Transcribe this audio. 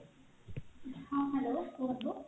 ହଁ hello କୁହନ୍ତୁ